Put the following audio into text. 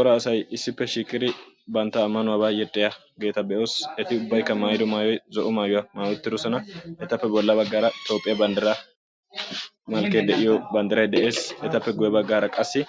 ora asay issippe shiiqidi bantta ammanuwaba yexxiyaageeta be'oos; eti ubbaykka zo'o maayuwa maayi uttidoosona, etappe guyye baggara Toophiyaa banddiray de'ees; etappe guyye baggara qassi